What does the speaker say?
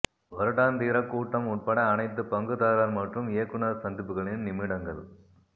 வருடாந்திர கூட்டம் உட்பட அனைத்து பங்குதாரர் மற்றும் இயக்குனர் சந்திப்புகளின் நிமிடங்கள்